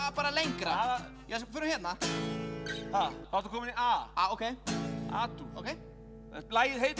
bara lengra förum hérna þá ertu kominn í a ókei a dúr ókei lagið heitir